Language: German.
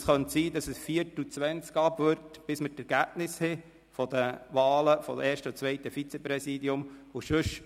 Denn es kann sein, dass es 16.15 Uhr oder 16.20 Uhr wird, bis wir die Ergebnisse der Wahlen des ersten und des zweiten Vizepräsidenten vorliegen haben.